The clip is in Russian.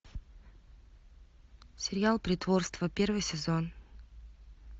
сериал притворство первый сезон